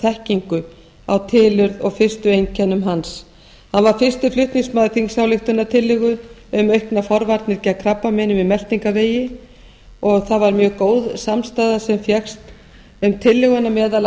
þekkingu á tilurð og fyrstu einkennum hans hann var fyrsti flutningsmaður þingsályktunartillögu um auknar forvarnir gegn krabbameini í meltingarvegi og það var mjög góð samstaða sem fékkst um tillöguna meðal